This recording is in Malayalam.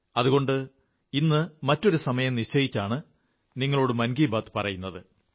അതുകൊണ്ട് ഇന്ന് മറ്റൊരു സമയം നിശ്ചയിച്ചാണ് നിങ്ങളോട് മൻ കീ ബാത്ത് പറയുന്നത്